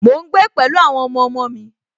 Mò ń gbé pẹ̀lú àwọn ọmọọmọ mi